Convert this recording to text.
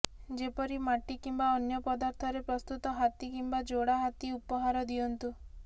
ଯେପରି ମାଟି କିମ୍ବା ଅନ୍ୟ ପଦାର୍ଥରେ ପ୍ରସ୍ତୁତ ହାତୀ କିମ୍ବା ଯୋଡ଼ା ହାତୀ ଉପହାର ଦିଅନ୍ତୁ